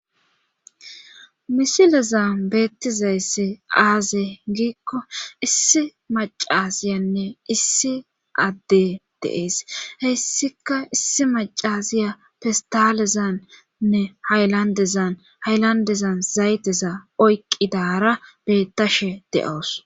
Misilezan beettizayssi aaze giikko issi macasiyanne issi adde de'ees heyssika issi macasiya festalezanne haylandezan haylandezan zayteza oyqqidara beettashe de'awus